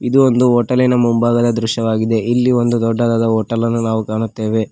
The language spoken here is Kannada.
ಇದು ಒಂದು ಹೋಟೆಲಿ ನ ಮುಂಭಾಗದ ದೃಶ್ಯವಾಗಿದೆ ಇಲ್ಲಿ ಒಂದು ದೊಡ್ಡದಾದ ಹೋಟೆಲ ನ್ನು ನಾವು ಕಾಣುತ್ತೇವೆ.